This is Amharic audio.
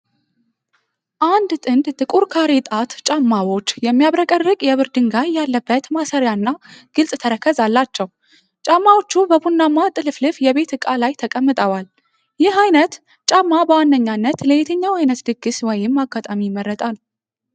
አንድ ጥንድ ጥቁር ካሬ-ጣት ጫማዎች የሚያብረቀርቅ የብር ድንጋይ ያለበት ማሰሪያና ግልፅ ተረከዝ አላቸው። ጫማዎቹ በቡናማ ጥልፍልፍ የቤት ዕቃ ላይ ተቀምጠዋል። ይህ አይነት ጫማ በዋነኛነት ለየትኛው አይነት ድግስ ወይም አጋጣሚ ይመረጣል?